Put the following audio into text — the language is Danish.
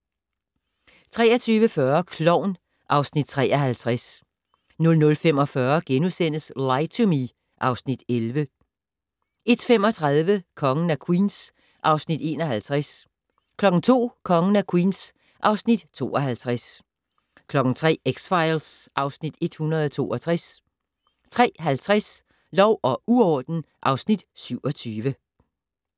23:40: Klovn (Afs. 53) 00:45: Lie to Me (Afs. 11)* 01:35: Kongen af Queens (Afs. 51) 02:00: Kongen af Queens (Afs. 52) 03:00: X-Files (Afs. 162) 03:50: Lov og uorden (Afs. 27)